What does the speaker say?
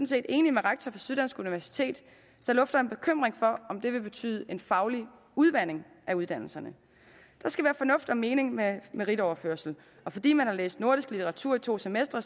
set enig med rektoren for syddansk universitet som lufter en bekymring for om det vil betyde en faglig udvanding af uddannelserne der skal være fornuft i og mening med en meritoverførsel fordi man har læst nordisk litteratur i to semestre